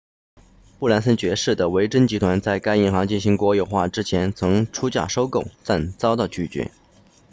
布兰森爵士 sir richard branson 的维珍集团 virgin group 在该银行进行国有化之前曾出价收购但遭到拒绝